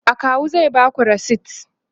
akawu zai Baku resit